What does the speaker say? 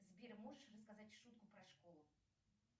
сбер можешь рассказать шутку про школу